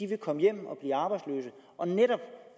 vil komme hjem og blive arbejdsløse og netop